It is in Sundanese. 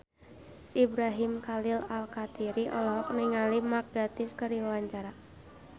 Ibrahim Khalil Alkatiri olohok ningali Mark Gatiss keur diwawancara